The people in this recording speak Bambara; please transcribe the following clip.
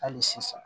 Hali sisan